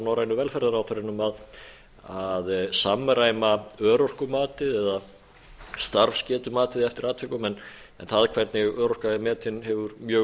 norrænu velferðarráðherrunum að samræma örorkumatið eða starfsgetumatið eftir atvikum en það hvernig örorka er metin hefur mjög